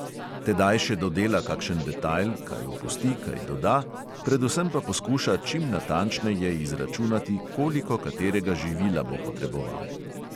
Tedaj še dodela kakšen detajl, kaj opusti, kaj doda, predvsem pa poskuša čim natančneje izračunati, koliko katerega živila bo potreboval.